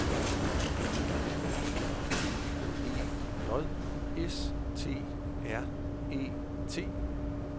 B E G E J S T R E T